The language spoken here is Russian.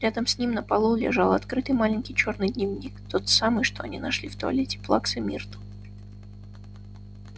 рядом с ним на полу лежал открытый маленький чёрный дневник тот самый что они нашли в туалете плаксы миртл